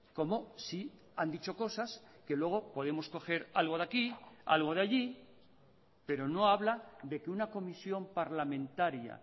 como si han dicho cosas que luego podemos coger algo de aquí algo de allí pero no habla de que una comisión parlamentaria